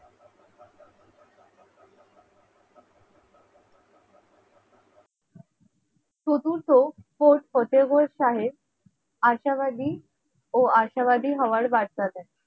চতুর্থ ফোর্টফতেও গড় সাহেব আশাবাদী ও আশাবাদী হওয়ার বার্তা দেয়।